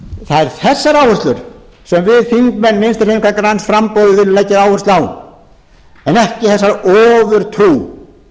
eru þessar áherslur sem við þingmenn vinstri hreyfingarinnar græns framboðs viljum leggja áherslu á en ekki þessa ofurtrú